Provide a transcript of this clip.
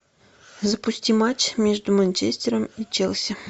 запусти матч между манчестером и челси